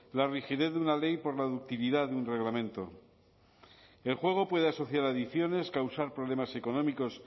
la rigidez de una ley por la ductilidad de un reglamento el juego puede asociar adicciones causar problemas económicos